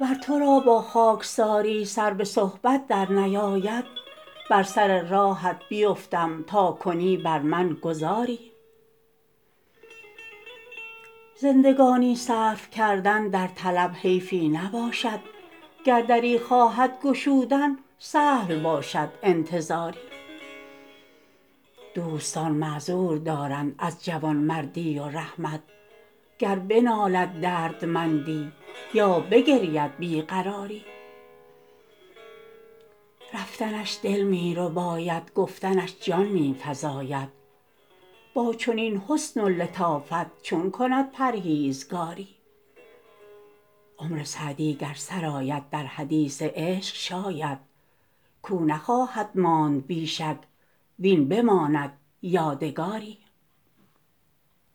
ور تو را با خاکساری سر به صحبت درنیاید بر سر راهت بیفتم تا کنی بر من گذاری زندگانی صرف کردن در طلب حیفی نباشد گر دری خواهد گشودن سهل باشد انتظاری دوستان معذور دارند از جوانمردی و رحمت گر بنالد دردمندی یا بگرید بی قراری رفتنش دل می رباید گفتنش جان می فزاید با چنین حسن و لطافت چون کند پرهیزگاری عمر سعدی گر سر آید در حدیث عشق شاید کاو نخواهد ماند بی شک وین بماند یادگاری